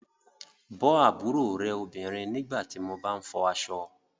Bọ́ àbúrò rẹ obìnrin nígbà tí mo bá ń fọ aṣọ